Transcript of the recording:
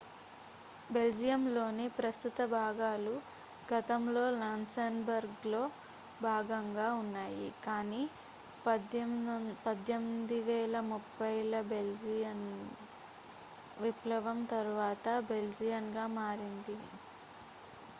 బెల్జియంలోని ప్రస్తుత భాగాలు గతంలో లక్సెంబర్గ్లో భాగంగా ఉన్నాయి కానీ 1830 ల బెల్జియన్ విప్లవం తరువాత బెల్జియన్గా మారింది